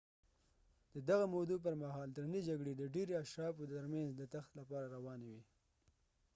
د دغه مودو پر مهال درنې جګړې د ډیری اشرافو تر مینځ د تخت لپاره روانې وي